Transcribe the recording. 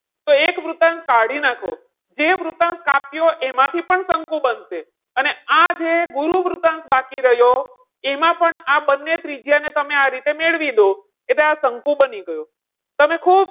તો એક વૃતાંશ કાઢી નાખો, જે વૃતાંશ કાપ્યો એમાંથી પણ શંકુ બનશે. અને આ જે ગુરુ વૃતાંશ બાકી રહ્યો એમાં પણ આ બંને ત્રિજ્યા ને તમે આ રીતે મેળવી દો એટલે આ શંકુ બની ગયું. તમે ખૂબ,